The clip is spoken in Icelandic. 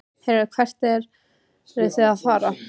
Heyrðu, hvert eruð þið að fara?